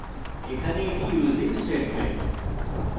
এখানে এটি using statement